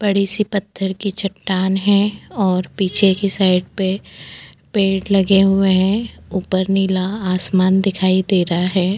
बड़ी-सी पत्थर की चट्टान है और पीछे की साइड पे पेड़ लगे हुए हैं ऊपर नीला आसमान दिखाई दे रहा है।